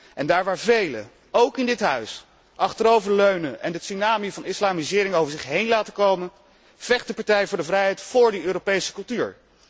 En daar waar velen, ook in dit Parlement, achterover leunen en de tsunami van de islamisering over zich heen laten komen, vecht de Partij voor de Vrijheid voor die Europese cultuur.